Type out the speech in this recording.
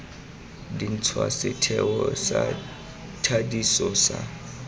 dintšhwa setheo sa thadiso sa